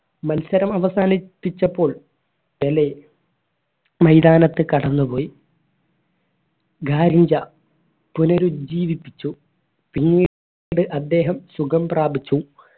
മത്സരം അവസാനിപ്പിച്ചപ്പോൾ പെലെ മൈതാനത്ത് കടന്നുപോയി പുനരുജീവിപ്പിച്ചു പിന്നീ ട് അദ്ദേഹം സുഖം പ്രാപിച്ചു